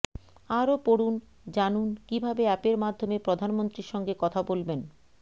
আরও পড়ুন জানুন কীভাবে অ্যাপের মাধ্যমে প্রধানমন্ত্রীর সঙ্গে কথা বলবেন